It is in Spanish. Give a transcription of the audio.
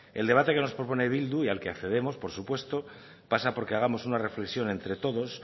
el debate que nos propone bildu y al que accedemos por supuesto pasa por que hagamos una reflexión entre todos